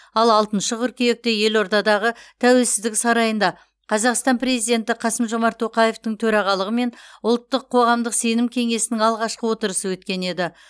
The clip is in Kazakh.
ал алтыншы қыркүйекте елордадағы тәуелсіздік сарайында қазақстан президенті қасым жомарт тоқаевтың төрағалығымен ұлттық қоғамдық сенім кеңесінің алғашқы отырысы өткен еді